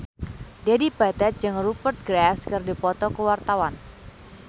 Dedi Petet jeung Rupert Graves keur dipoto ku wartawan